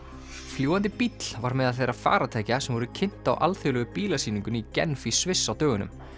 fljúgandi bíll var meðal þeirra farartækja sem voru kynnt á alþjóðlegu bílasýningunni í Genf í Sviss á dögunum